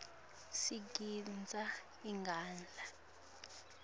sigidza ingadla